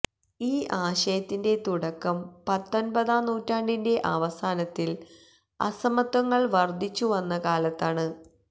ഈ ആശയത്തിന്റെ തുടക്കം പത്തൊന്പതാംനൂറ്റാണ്ടിന്റെ അവസാനത്തില് അസമത്വങ്ങള് വര്ധിച്ചുവന്ന കാലത്താണ്